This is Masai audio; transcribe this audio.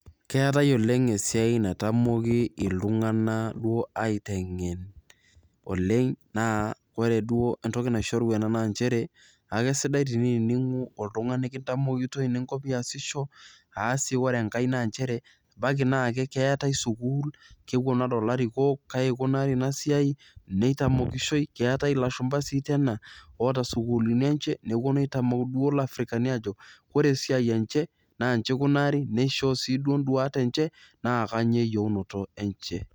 keetae oleng esiai naitamoki iltunganak duo aitengen oleng. naa ore duo entoki naishoru ena naa nchere akesidai teniningu oltungani kintamokitoi niasisho. naa ore enkae sii naa nchere ebaiki naa keetae sukuul. kepuonu ade larikoko, kaji ikunari ina siai, meitamokishoi. keetae ilashumpa sii laijo ena, oota sukuuluni enye. nepuonu aitamok isukuuluni ajo ore esiai enche naaji ikunari. neishooyo siduo duat enye. naa kainyioo eyieunoto enye.